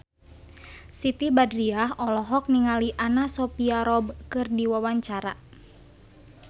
Siti Badriah olohok ningali Anna Sophia Robb keur diwawancara